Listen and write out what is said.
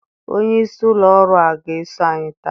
Onye isi ụlọ ọrụ ọ ga-eso anyị taa?